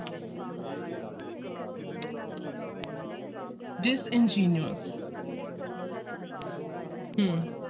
Disingenuous ਹਮ